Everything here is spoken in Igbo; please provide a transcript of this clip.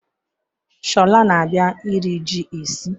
Shola na-abia iri ji esi